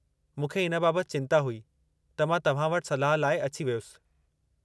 मूंखे इन बाबतु चिंता हुई, त मां तव्हां वटि सलाह लाइ अची वयुसि।